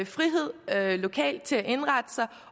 frihed lokalt til at indrette sig